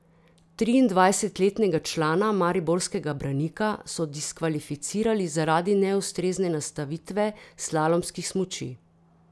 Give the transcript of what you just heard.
Triindvajsetletnega člana mariborskega Branika so diskvalificirali zaradi neustrezne nastavitve slalomskih smuči.